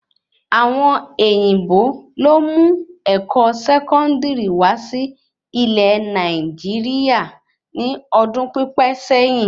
Àwọn òyìnbó lo mu ẹkọ sẹkọndiri wà sí ilé Nàìjíríà ní ọdún pipẹ sẹyìn